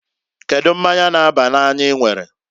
Kedu mmanya n'aba n'anya I nwere?